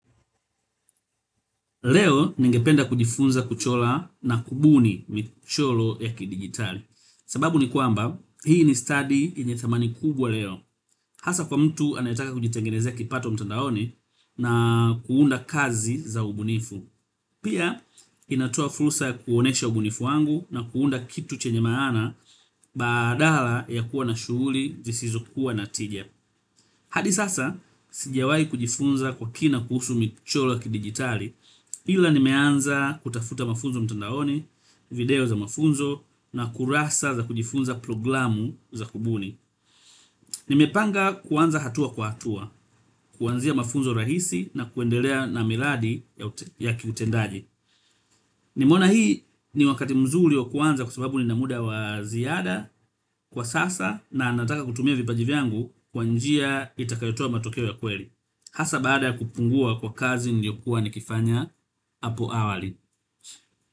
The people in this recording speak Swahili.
Leo ningependa kujifunza kuchora na kubuni michoro ya kidigitali. Sababu ni kwamba, hii ni stadi yenye thamani kubwa leo. Hasa kwa mtu anayetaka kujitengenezea kipato mtandaoni na kuunda kazi za ubunifu. Pia, inatoa fursa kuonyesha ubunifu wangu na kuunda kitu chenye maana badala ya kuwa na shughuli, zisizo kuwa na tija. Hadi sasa, sijawahi kujifunza kwa kina kuhusu michoro ya kidigitali. Ila nimeanza kutafuta mafunzo mtandaoni, video za mafunzo na kurasa za kujifunza programu za kubuni. Nimepanga kuanza hatua kwa hatua, kuanzia mafunzo rahisi na kuendelea na miradi ya kiutendaji. Nimeona hii ni wakati mzuri wa kuanza kwa sababu nina muda wa ziada kwa sasa na nataka kutumia vipaji vyangu kwa njia itakayotoa matokeo ya kweli hasa baada kupungua kwa kazi niliyokuwa nikifanya hapo awali.